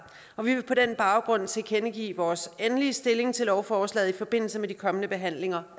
vi vil på den baggrund tilkendegive vores endelige stilling til lovforslaget i forbindelse med de kommende behandlinger